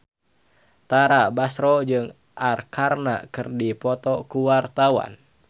Tara Basro jeung Arkarna keur dipoto ku wartawan